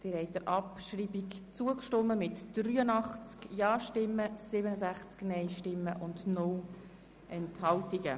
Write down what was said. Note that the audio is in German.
Sie haben der Abschreibung zugestimmt mit 83 Ja- gegen 67 Nein-Stimmen bei 0 Enthaltungen.